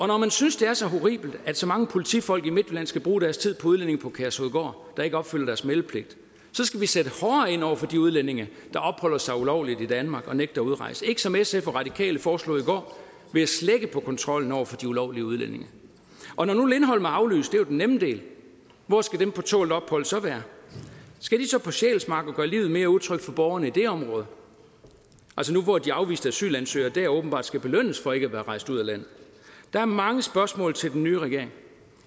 når man synes det er så horribelt at så mange politifolk i midtjylland skal bruge deres tid på udlændinge på kærshovedgård der ikke opfylder deres meldepligt så skal vi sætte hårdere ind over for de udlændinge der opholder sig ulovligt i danmark og nægter at udrejse ikke som sf og radikale foreslog i går ved at slække på kontrollen over for de ulovlige udlændinge og når nu lindholm er aflyst det er jo den nemme del hvor skal dem på tålt ophold så være skal de så på sjælsmark og gøre livet mere utrygt for borgerne i det område altså nu hvor de afviste asylansøgere dér åbenbart skal belønnes for ikke at være rejst ud af landet der er mange spørgsmål til den nye regering